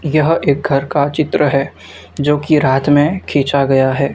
यह एक घर का चित्र है जो की रात में खींचा गया है।